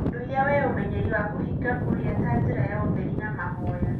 Ũndũire wĩ ũmenyeri wa kũhiga kũrĩa ta njĩra ya ũtherũ na mahoya.